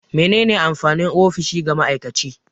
Me ne ne amfanin ofishi ga ma'aikaci?